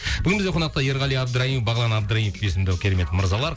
бүгін бізде қонақта ерғали абдраимов бағлан абдраимов есімді керемет мырзалар